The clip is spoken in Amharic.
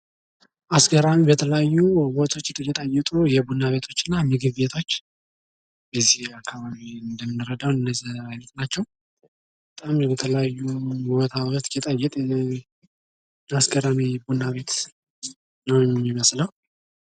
ቡና ቤቶች ብዙውን ጊዜ መክሰስና ቀላል ምግቦችን የሚያቀርቡ ሲሆን ምግብ ቤቶች ደግሞ ሙሉ ምናሌ ያላቸው የተለያዩ ምግቦችን ያቀርባሉ።